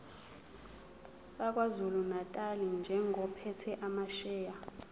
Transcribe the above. sakwazulunatali njengophethe amasheya